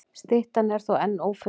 Styttan er þó enn ófundin.